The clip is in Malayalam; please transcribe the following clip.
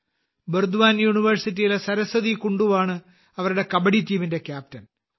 ബർദ്വാൻ യൂണിവേഴ്സിറ്റിയിലെ സരസ്വതി കുണ്ടുവാണ് അവരുടെ കബഡി ടീമിന്റെ ക്യാപ്റ്റൻ